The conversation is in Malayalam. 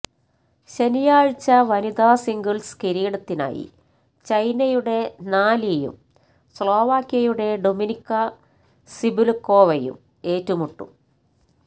ശനിയാഴ്ച വനിതാ സിംഗിള്സ് കിരീടത്തിനായി ചൈനയുടെ നാ ലീയും സ്ലോവാക്യയുടെ ഡൊമിനിക്ക സിബുല്ക്കോവയും ഏറ്റുമുട്ടും